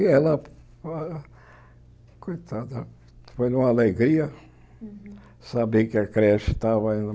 E ela, co coitada, foi uma alegria saber que a creche estava indo.